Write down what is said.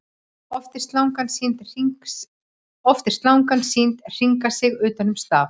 Oft er slangan sýnd hringa sig utan um staf.